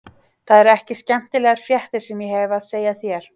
Það eru ekki skemmtilegar fréttir sem ég hefi að segja þér.